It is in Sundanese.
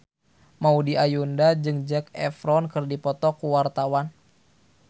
Maudy Ayunda jeung Zac Efron keur dipoto ku wartawan